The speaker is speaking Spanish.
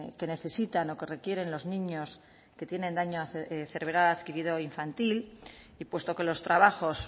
que necesitan o que requieren los niños que tiene daño cerebral adquirido infantil y puesto que los trabajos